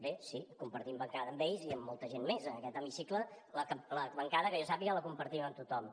bé sí compartim bancada amb ells i amb molta gent més en aquest hemicicle la bancada que jo sàpiga la compartim amb tothom